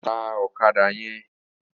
Tá òkàdá yèn